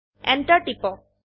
enter টিপক